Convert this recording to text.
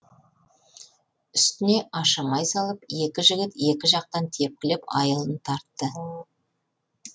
үстіне ашамай салып екі жігіт екі жақтан тепкілеп айылын тартты